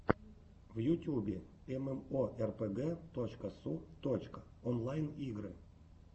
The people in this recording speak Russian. в ютьюбе эмэмоэрпэгэ точка су точка онлайн игры